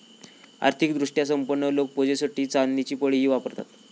आर्थिक दृष्ट्या संपन्न लोक पूजेसाठी चांदीची पळीही वापरतात.